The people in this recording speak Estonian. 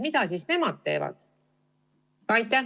Mida nemad teevad?